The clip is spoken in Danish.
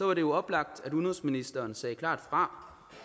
var det jo oplagt at udenrigsministeren sagde klart fra